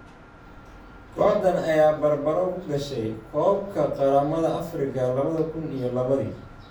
Kooxdan ayaa barbaro ku gashay koobka qaramada Afrika labada kun iyo labadi